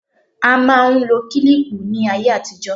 A máa ń lo kílíìpù ní ayé àtijó.